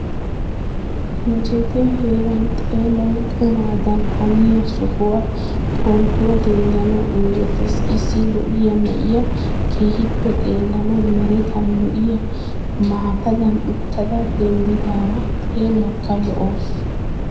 Injjetiyaa heeran xeelawu qumadan haniya sohuwan pootuwaa denddanawu injjetees. Issi lo'iyaa na'iyaa keehippe xeelanawu merettan lo'iyaa maataan uttada denddidaara xeelawukka lo'awusu.